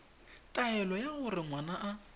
taelo ya gore ngwana a